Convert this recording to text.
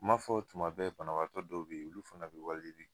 N ma fɔ tuma bɛɛ banabagatɔ dɔw be yen olu fana be wali yeli kɛ